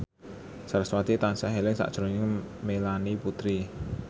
sarasvati tansah eling sakjroning Melanie Putri